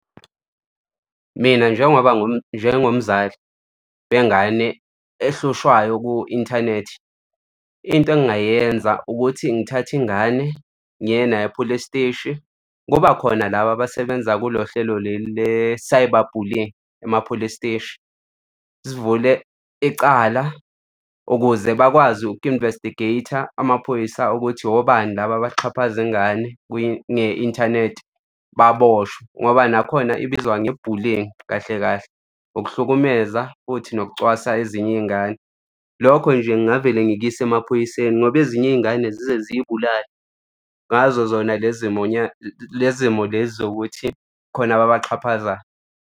Mina, njengoba njengomzali wengane ehlushwayo ku-inthanethi, into engingayenza ukuthi ngithathe ingane ngiye nayo e-police steshi kuba khona laba abasebenza kulo hlelo leli le-cyber bullyng ema-police steshi sivule ecala ukuze bakwazi uku-investigate-a amaphoyisa ukuthi obani laba abaxhaphaza ingane nge-inthanethi baboshwe, ngoba nakhona ibizwa nge-bullying kahle kahle, ukuhlukumeza futhi nokucwasa ezinye iy'ngane. Lokho nje ngavele ngikuyise emaphoyiseni ngoba ezinye iy'ngane zize ziy'bulale ngazo zona lezi lezi zimo zokuthi khona ababaxhaphazayo.